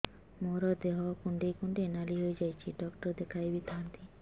ମୋର ଦେହ କୁଣ୍ଡେଇ କୁଣ୍ଡେଇ ନାଲି ହୋଇଯାଉଛି ଡକ୍ଟର ଦେଖାଇ ଥାଆନ୍ତି